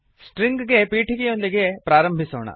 string ಗೆ ಪೀಠಿಕೆಯೊಂದಿಗೆ ಆರಂಭಿಸೋಣ